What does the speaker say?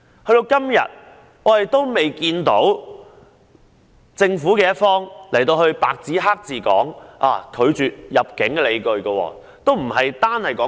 時至今日，政府仍未有白紙黑字說明拒絕入境的理據。